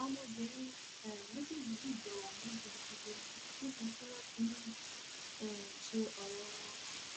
àwọn ọmọbìnrin um méjèèjì yìí jọ wà ní gúdúgbù ní níbi tí wọn ti ń um ṣe ọrẹ wọn